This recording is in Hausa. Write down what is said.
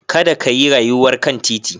Kada ka yi rayuwar kan titi.